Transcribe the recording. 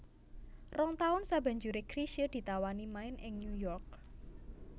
Rong taun sabanjuré Chrisye ditawani main ing New York